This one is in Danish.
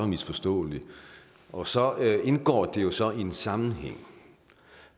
misforstå og så indgår det jo sådan en sammenhæng